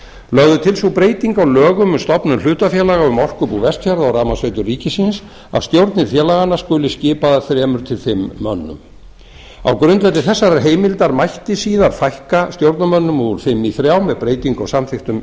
lögð er til sú breyting á lögum um stofnun hlutafélaga um orkubú vestfjarða og rafmagnsveitur ríkisins að stjórnir félaganna skuli skipaðar þremur til fimm mönnum á grundvelli þessarar heimildar mætti síðar fækka stjórnarmönnum úr fimm í þrjá með breytingu á samþykktum